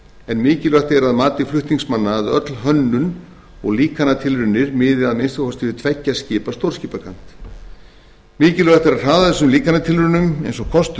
en mikilvægt er að mati flutningsmanna að öll hönnun og líkantilraunir miði að minnsta kosti við tveggja skipa stórskipakant mikilvægt er að hraða líkantilraunum eins og kostur